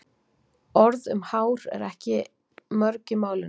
Orð um hár eru ekki mörg í málinu.